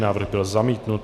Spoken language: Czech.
Návrh byl zamítnut.